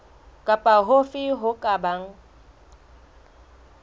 kapa hofe ho ka bang